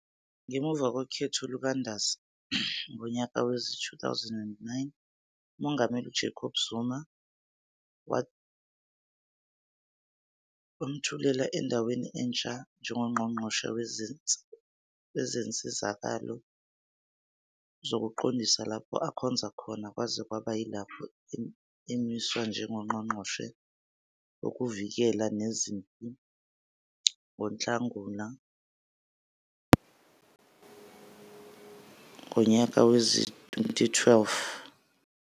Ngemuva kokhetho lukaNdasa ngonyaka wezi-2009, uMongameli UJacob Zuma wamthuthela endaweni entsha njengoNgqongqoshe Wezinsizakalo Zokuqondisa, lapho akhonza khona kwaze kwaba yilapho emiswa njengoNgqongqongqoshe Wokuvikela Nezempi NgoNhlangulana ngonyaka wezi -2012.